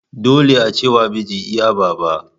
Dole ace wa mijin iya Baba.